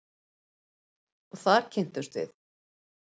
Og þar kynntumst við.